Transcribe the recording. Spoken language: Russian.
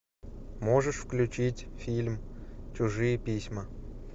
можешь включить фильм чужие письма